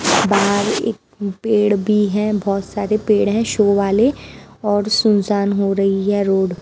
बाहर एक पेड़ भी हैं बहुत सारे पेड़ हैं शो वाले और सुनसान हो रही है रोड ।